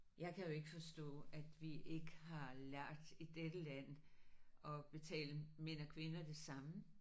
Jeg kan jo ikke forstå at vi ikke har lært i dette land at betale mænd og kvinder det samme